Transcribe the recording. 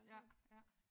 Ja ja